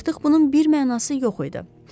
Artıq bunun bir mənası yox idi.